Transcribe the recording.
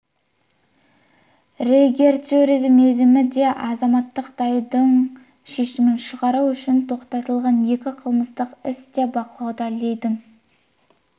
тергеудің мерзімі де азаматтық даудың шешімін шығару үшін тоқтатылған екі қылмыстық іс те бақылауда лидің